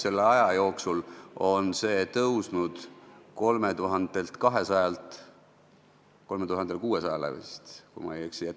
Selle aja jooksul on see tõusnud 3200 eurolt 3600 eurole, kui ma ei eksi.